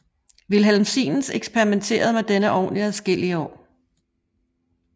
Wilhelm Siemens eksperimenterede med denne ovn i adskillige år